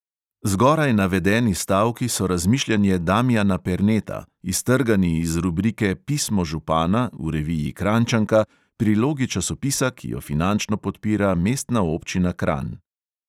Zgoraj navedeni stavki so razmišljanje damijana perneta, iztrgani iz rubrike pismo župana v reviji kranjčanka, prilogi časopisa, ki jo finančno podpira mestna občina kranj.